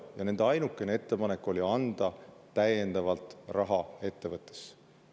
Ja nende ainukene ettepanek oli anda täiendavalt raha ettevõttesse.